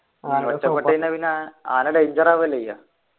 ആന ഒറ്റപെട്ട് കഴിഞ്ഞാ പിന്നെ ആന danger ആവുഅല്ലേ ചെയ്യുആ